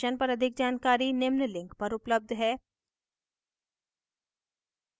इस mission पर अधिक जानकारी निम्न लिंक पर उपलब्ध है